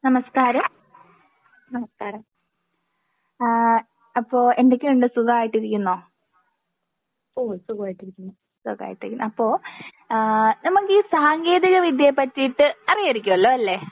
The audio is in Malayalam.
നമസ്ക്കാരം ആഹ് അപ്പൊ എന്തൊക്കെയുണ്ട് സുഖായിട്ടിരിക്കുന്നോ? സുഖായിട്ടിരിക്കുന്നു. അപ്പൊ ആഹ് നമുക്ക് ഈ സാങ്കേന്തിക വിദ്യയെ പറ്റിയിട്ട് അറിയായിരിക്കുമല്ലോ അല്ലേ?